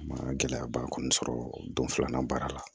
A ma gɛlɛyaba kɔni sɔrɔ don filanan baara la